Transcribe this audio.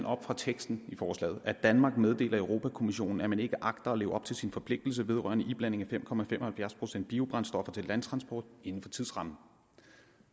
op fra teksten i forslaget at danmark meddeler europa kommissionen at man ikke agter at leve op til sin forpligtelse vedrørende iblanding af fem procent biobrændstoffer til landtransport inden for tidsrammen